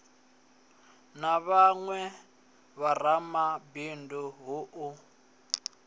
na vhawe vharamabindu hu u